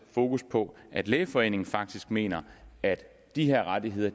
fokus på at lægeforeningen faktisk mener at de her rettigheder